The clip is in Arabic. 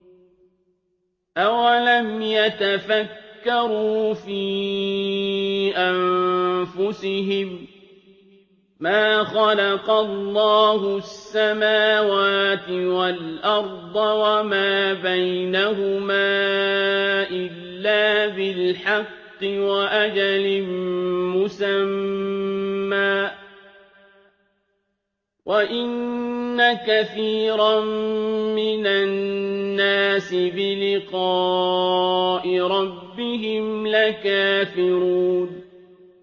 أَوَلَمْ يَتَفَكَّرُوا فِي أَنفُسِهِم ۗ مَّا خَلَقَ اللَّهُ السَّمَاوَاتِ وَالْأَرْضَ وَمَا بَيْنَهُمَا إِلَّا بِالْحَقِّ وَأَجَلٍ مُّسَمًّى ۗ وَإِنَّ كَثِيرًا مِّنَ النَّاسِ بِلِقَاءِ رَبِّهِمْ لَكَافِرُونَ